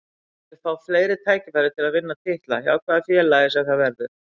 Ég vil fá fleiri tækifæri til að vinna titla, hjá hvaða félagi sem það verður.